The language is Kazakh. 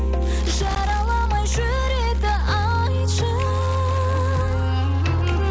жараламай жүректі айтшы